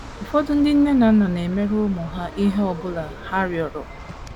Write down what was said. Ụfọdụ ndị nne na nna na - emere ụmụ ha ihe ọ bụla ha rịọrọ.